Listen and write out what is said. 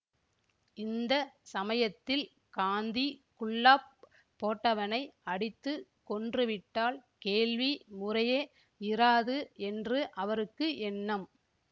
இந்த சமயத்தில் காந்திக் குல்லாப் போட்டவனை அடித்து கொன்றுவிட்டால் கேள்வி முறையே இராது என்று அவருக்கு எண்ணம்